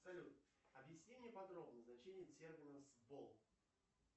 салют объясни мне подробно значение термина сбол